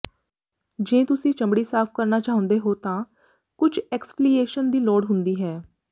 ਜੇ ਤੁਸੀਂ ਚਮੜੀ ਸਾਫ਼ ਕਰਨਾ ਚਾਹੁੰਦੇ ਹੋ ਤਾਂ ਕੁਝ ਐਕਸਫ਼ੀਲੀਏਸ਼ਨ ਦੀ ਲੋੜ ਹੁੰਦੀ ਹੈ